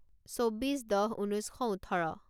চৌব্বিছ দহ ঊনৈছ শ ওঠৰ